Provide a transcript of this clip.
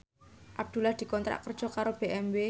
Abdullah dikontrak kerja karo BMW